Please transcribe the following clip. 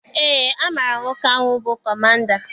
Eé, amaara m nwoke ahụ bụ kọmanda.